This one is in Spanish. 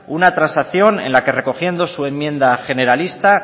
una transacción en la que recogiendo su enmienda generalista